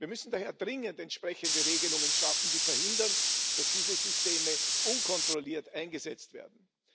Wir müssen daher dringend entsprechende Regelungen schaffen, die verhindern, dass diese Systeme unkontrolliert eingesetzt werden.